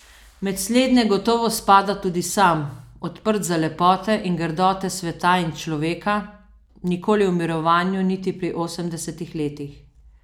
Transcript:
Med slednje gotovo spada tudi sam, odprt za lepote in grdote sveta in človeka, nikoli v mirovanju niti pri osemdesetih letih.